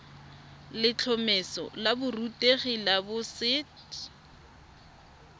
letlhomeso la borutegi la boset